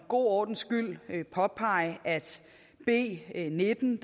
god ordens skyld påpege at b nitten